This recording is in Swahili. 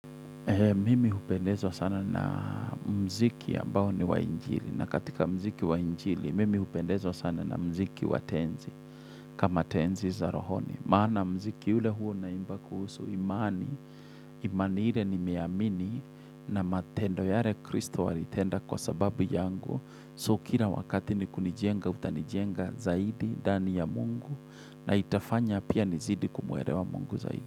Mimi hupendewa sana na muziki ambao ni wa injili na katika muziki wa injili mimi hupendezwa sana na muziki watenzi kama tenzi za rohoni. Maana muziki ule huo na imba kuhusu imani, imani hile ni meamini na matendo yare kristo alitenda kwa sababu yangu. So kila wakati ni kunijenga utanijenga zaidi dani ya mungu na itafanya pia nizidi kumuerewa mungu zaidi.